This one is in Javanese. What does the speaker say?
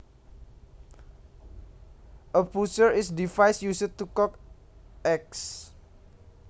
A poacher is a device used to cook eggs